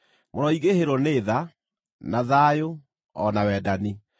Mũroingĩhĩrwo nĩ tha, na thayũ, o na wendani.